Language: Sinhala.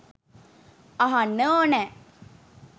අහන්න ඕනෑ.